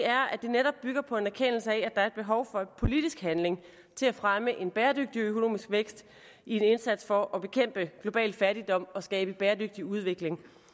er at det netop bygger på en erkendelse af at der er et behov for politisk handling til at fremme en bæredygtig økonomisk vækst i en indsats for at bekæmpe global fattigdom og skabe en bæredygtig udvikling